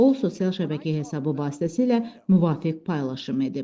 O, sosial şəbəkə hesabı vasitəsilə müvafiq paylaşım edib.